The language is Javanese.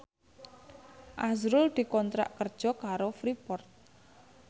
azrul dikontrak kerja karo Freeport